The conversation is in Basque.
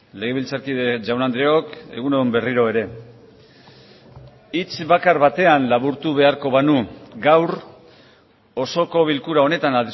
legebiltzarkide jaun andreok egun on berriro ere hitz bakar batean laburtu beharko banu gaur osoko bilkura honetan